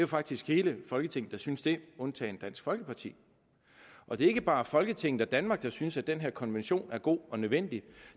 faktisk hele folketinget der synes det undtagen dansk folkeparti og det er ikke bare folketinget og danmark der synes at den her konvention er god og nødvendig